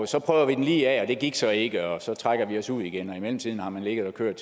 så prøver de den lige af og det gik så ikke og så trækker de sig ud igen og i mellemtiden har man ligget og kørt